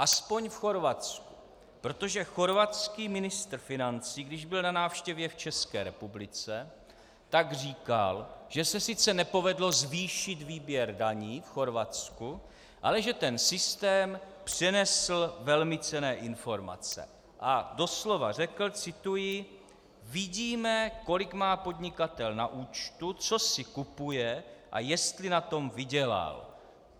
Aspoň v Chorvatsku, protože chorvatský ministr financí, když byl na návštěvě v České republice, tak říkal, že se sice nepovedlo zvýšit výběr daní v Chorvatsku, ale že ten systém přinesl velmi cenné informace, a doslova řekl - cituji: "Vidíme, kolik má podnikatel na účtu, co si kupuje, a jestli na tom vydělal."